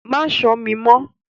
Má ṣọ́ mi mọ́!